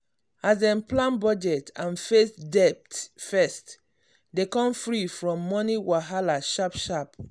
as dem plan budget and face debt first dem come free from money wahala sharp sharp.